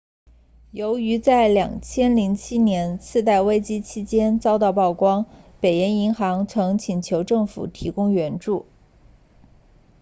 由于在2007年次贷危机期间遭到曝光北岩银行 northern rock 曾请求政府提供援助